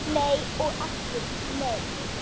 Nei og aftur nei